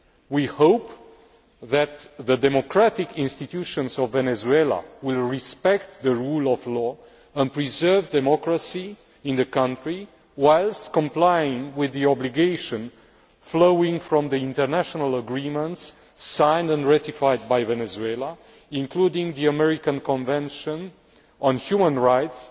We hope that the democratic institutions of Venezuela will respect the rule of law and preserve democracy in the country, whilst complying with the obligation arising from the international agreements signed and ratified by Venezuela, including the American Convention on Human Rights